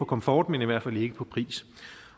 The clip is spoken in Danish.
komfort men i hvert fald ikke på pris